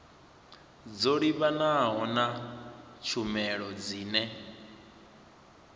dzo livhanaho na tshumelo dzine